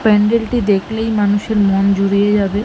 প্যান্ডেল -টি দেখলেই মানুষের মন জুড়িয়ে যাবে।